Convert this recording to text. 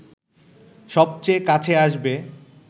সবচেয়ে কাছে আসবে